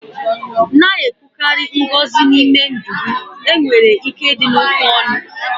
na-ekwukarị ngọzi n'ime ndụ gị, enwere ike dị n'okwu ọnụ